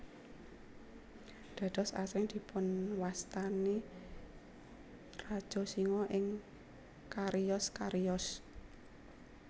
Dados asring dipunwastani Raja Singa ing cariyos cariyos